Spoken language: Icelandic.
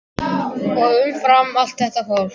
Umfram allt þetta fólk.